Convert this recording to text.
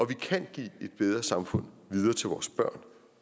vi kan give et bedre samfund videre til vores børn